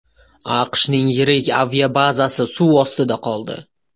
AQShning yirik aviabazasi suv ostida qoldi .